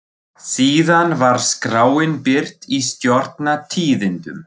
Síðan var skráin birt í Stjórnar- tíðindum.